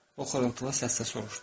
O xırıltılı səslə soruşdu.